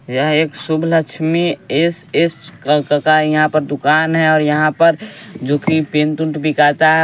यह एक Shubh Lakshmi S S का यहाँ पर दुकान है और यहाँ पर जोकि पेंतुंट बिकाता है।